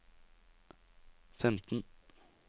femten